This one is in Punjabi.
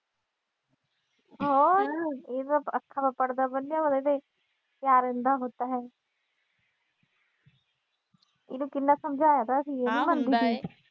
ਹੋਰ ਇਹ ਤਾਂ ਅੱਖਾਂ ਤੋਂ ਪੜ੍ਹਦਾ ਪਿਆਰ ਅੰਧਾ ਹੋਤਾ ਹੈ। ਇਹਨੂੰ ਕਿੰਨਾ ਸਮਝਾਇਆ ਤਾਂ ਸੀ।